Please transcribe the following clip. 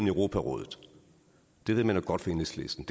europarådet det ved man jo godt i enhedslisten